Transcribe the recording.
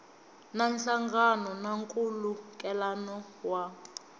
na nhlangano na nkhulukelano wa